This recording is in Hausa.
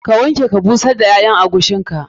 Ka wanke ka busar da ƴaƴan agushin ka.